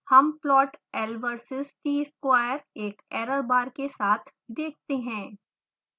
हम plot l versus t square एक error बार के साथ देखते हैं